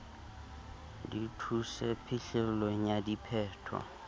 di thuse phihlellong ya diphetho